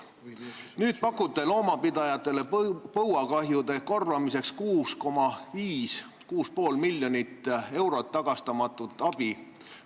Nüüd te pakute loomapidajatele põuakahjude korvamiseks 6,5 miljonit eurot tagastamatut abi.